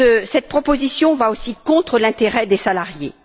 Cette proposition va aussi contre l'intérêt des salariés.